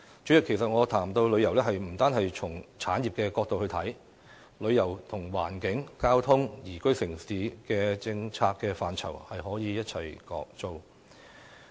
主席，我們不應單從產業的角度來看旅遊業，旅遊與環境、交通、宜居城市的政策範疇息息相關。